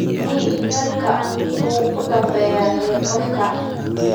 weli wararkii ugu dambeeyay ee qof